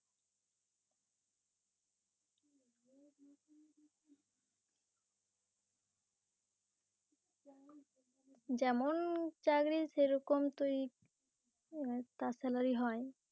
যেমন চাকরি সেরকম তো এ তার Salary হয় ।